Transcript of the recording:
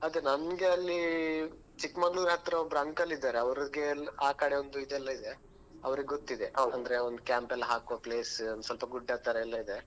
ಅದೇ ನಮ್ಗಲ್ಲಿ chikkamagaluru ಹತ್ರ ಒಬ್ರು uncle ಇದ್ದಾರೆ ಅವ್ರಿಗೆಲ್ಲಾ ಆಕಡೆ ಒಂದ್ ಇದೇಲ್ಲಾ ಇದೆ ಅವರಿಗೆ ಗೊತ್ತಿದೆ ಅಂದ್ರೆ camp ಎಲ್ಲಾ ಹಾಕುವ place ಒಂದ್ ಸ್ವಲ್ಪ ಗುಡ್ಡತರೆಲ್ಲಾ ಇದೆ.